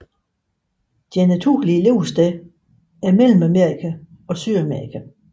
Deres naturlige levesteder er Mellemamerika og Sydamerika